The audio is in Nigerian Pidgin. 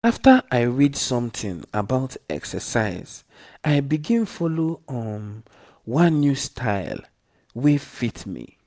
after i read something about exercise i begin follow um one new style wey fit me.